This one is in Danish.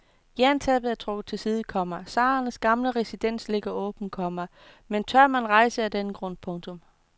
Jerntæppet er trukket til side, komma tsarernes gamle residens ligger åben, komma men tør man rejse af den grund. punktum